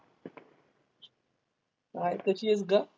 Hi कशी आहेस गं?